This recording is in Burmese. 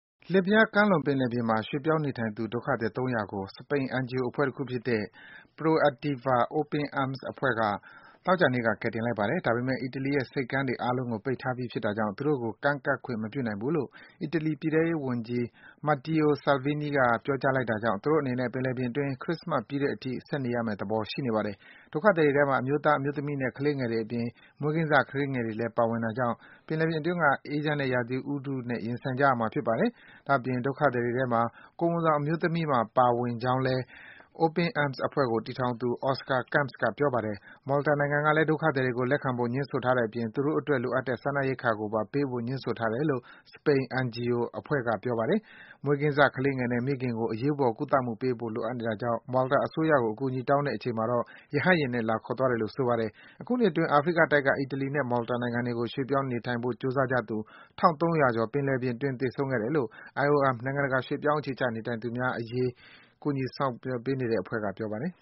လစ်ဗျားကမ်းလွန်ပင်လယ်ပြင်မှာ ရွှေ့ပြောင်းနေထိုင်သူ ဒုက္ခသည် ၃၀၀ ကို စပိန် NGO အဖွဲ့တခုဖြစ်တဲ့ Proactiva Open Arms အဖွဲ့က သောကြာနေ့မှာ ကယ်တင်လိုက်ပါတယ်။ ဒါပေမယ့် အီတလီရဲ့ ဆိပ်ကမ်းတွေ အားလုံးကို ပိတ်ထားပြီ ဖြစ်တာကြောင့် သူတို့ကို ကမ်းကပ်ခွင့် မပြုနိုင်ဘူးလို့ အီတလီ ပြည်ထဲရေးဝန်ကြီး Matteo Salvini က ပြောကြားလိုက်တာကြောင့် သူတို့အနေနဲ့ ပင်လယ်ပြင်အတွင်း ခရစ္စမတ်ပြီးတဲ့အထိ ဆက်နေရမယ့်သဘော ရှိနေပါတယ်။ ဒုက္ခသည်တွေထဲမှာ အမျိုးသား၊ အမျိုးသမီးနဲ့ ကလေးငယ်တွေအပြင် မွေးကင်းစ ကလေးငယ်တွေလည်း ပါဝင်တာကြောင့် ပင်လယ်ပြင်အတွင်းက အေးချမ်းတဲ့ ရာသီဥတုနဲ့ ရင်ဆိုင်ကြရမှာ ဖြစ်ပါတယ်။ ဒါ့အပြင် ဒုက္ခသည်တွေထဲမှာ ကိုယ်ဝန်ဆောင် အမျိုးသမီးတွေပါ ပါဝင်ကြောင်းလည်း Open Arms အဖွဲ့ကို တည် ထောင်သူ Oscar Camps က ပြောပါတယ်။ Malta နိုင်ငံကလည်း ဒုက္ခသည်တွေကို လက်ခံဖို့ ငြင်းဆိုထားတဲ့အပြင် သူတို့အတွက် လိုအပ်တဲ့ စားနပ် ရိက္ခာကိုပါ ပေးဖို့ငြင်းဆိုနေတယ်လို့ စပိန် NGO အဖွဲ့က ပြောပါတယ်။ မွေးကင်းစကလေးငယ်နဲ့ မိခင်ကို အရေးပေါ် ဆေးကုသမှုပေးဖို့ လိုအပ်နေတာကြောင့် Malta အစိုးရကို အကူအညီတောင်းတဲ့အချိန်မှာ ရဟတ်ယာဉ်နဲ့ လာခေါ်သွားတယ်လို့ ဆိုပါတယ်။ အခုနှစ်အတွင်း အာဖရိကတိုက်ကနေ အီတလီနဲ့ Malta နိုင်ငံတို့ကို ရွှေ့ပြောင်း နေထိုင်ဖို့ ကြိုးစားကြသူ ၁၃၀၀ ကျော် သေဆုံးခဲ့ပြီး ဖြစ်တယ်လို့ IOM နိုင်ငံတကာ ရွှေ့ပြောင်းအခြေချနေထိုင်သူများအရေး ကူညီဆောင်ရွက် ပေးနေတဲ့ အဖွဲ့က ပြောပါတယ်